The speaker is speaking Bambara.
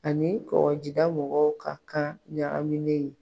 Ani kɔgɔjida mɔgɔw ka kan ɲagaminen.